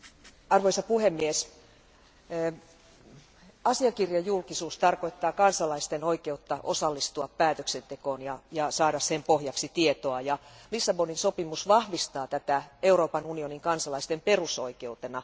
Arvoisa puhemies, asiakirjajulkisuus tarkoittaa kansalaisten oikeutta osallistua päätöksentekoon ja saada sen pohjaksi tietoa, ja Lissabonin sopimus vahvistaa tätä Euroopan unionin kansalaisten perusoikeutta.